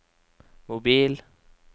mobil